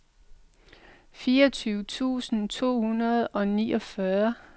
fireogtyve tusind to hundrede og niogfyrre